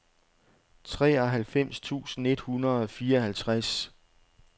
treoghalvfems tusind et hundrede og fireoghalvtreds